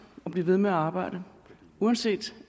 og blive ved med at arbejde uanset